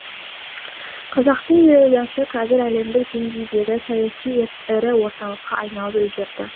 қазақтың елордасы қазір әлемдік деңгейдегі саяси ірі орталыққа айналып үлгерді